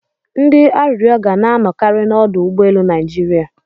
Ndị arịrịọ ga na-anọkari n'ọdụ ụgbọ elu Naịjiria.